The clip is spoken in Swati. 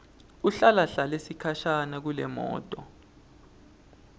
ahlalahlale sikhashana kulemoto